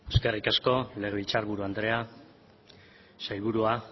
eskerrik legebiltzarburu andrea sailburuak